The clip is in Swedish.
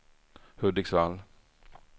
Hudiksvall